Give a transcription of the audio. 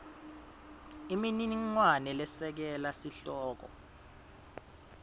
imininingwane lesekela sihloko